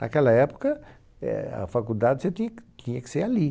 Naquela época, eh, a faculdade você tinha que tinha que ser ali.